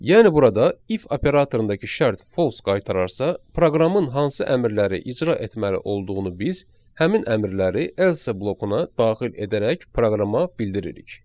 Yəni burada if operatorundakı şərt false qaytararsa, proqramın hansı əmrləri icra etməli olduğunu biz həmin əmrləri else blokuna daxil edərək proqrama bildiririk.